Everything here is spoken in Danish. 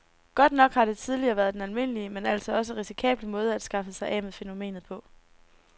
Godt nok har det tidligere været den almindelige, men altså også risikable måde at skaffe sig af med fænomenet på.